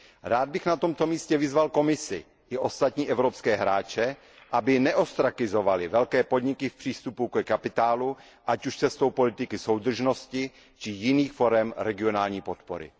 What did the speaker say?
Rád bych na tomto místě vyzval Komisi i ostatní evropské hráče, aby neostrakizovali velké podniky v přístupu ke kapitálu ať už cestou politiky soudržnosti či jiných forem regionální podpory.